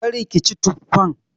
Kar ki ci tuffan!